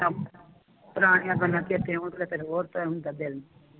ਪੁਰਾਣੀਆਂ ਗੱਲਾਂ ਚੇਤੇ ਆਉਦੀਆੰ ਤਾਂ ਹੋਰ ਤਰ੍ਹਾਂ ਹੁੰਦਾ ਦਿਲ ਨੂੰ